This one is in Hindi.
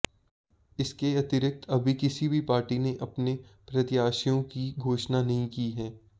इसके अतिरिक्त अभी किसी भी पार्टी ने अपने प्रत्याशियों की घोषणा नहीं की है